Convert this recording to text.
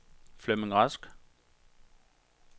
Flemming Rask